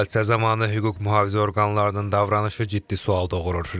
Hadisə zamanı hüquq-mühafizə orqanlarının davranışı ciddi sual doğurur.